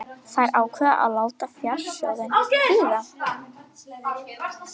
Þær ákváðu að láta fjársjóðinn bíða.